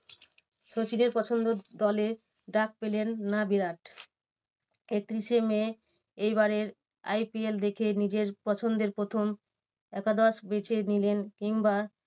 সচিনের পছন্দর দলে ডাক পেলেন না বিরাট। একত্রিশে মে এইবারের IPL দেখে নিজের পছন্দের প্রথম একাদশ বেছে নিলেন কিংবা